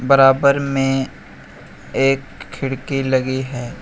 बराबर में एक खिड़की लगी है।